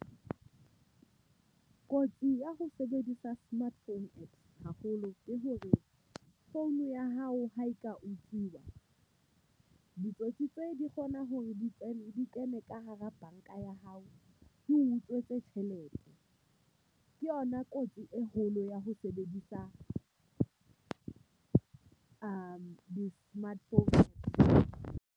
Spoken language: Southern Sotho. Kotsi ya ho sebedisa smart phone haholo ke hore phone ya hao ha e ka utsuwa, ditsotsi tse di kgona hore di kene di kene ka hara banka ya hao e utswitse tjhelete. Ke yona kotsi e kgolo ya ho sebedisa di-smart phones.